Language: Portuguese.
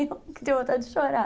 de chorar.